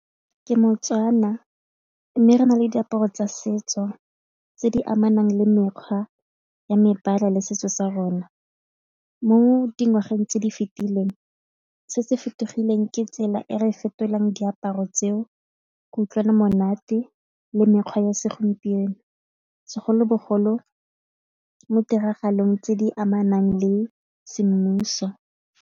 Ke mo-Tswana mme re na le diaparo tsa setso tse di amanang le mekgwa ya mebala le setso sa rona. Mo dingwageng tse di fetileng se se fetogileng ke tsela e re fetolang diaparo tseo go utlwana monate le mekgwa ya segompieno segolobogolo mo ditiragalong tse di amanang le semmuso.